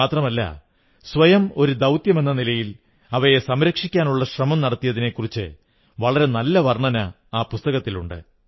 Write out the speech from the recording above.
മാത്രമല്ല സ്വയം ഒരു ദൌത്യമെന്ന നിലയിൽ അവയെ സംരക്ഷിക്കാനുള്ള ശ്രമം നടത്തിയതിനെക്കുറിച്ച് വളരെ നല്ല വർണ്ണന ആ പുസ്തകത്തിലുണ്ട്